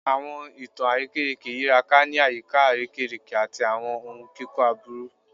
Awọn itan arekereke yiraka ni ayika arekereke ati awọn ohun kikọ aburu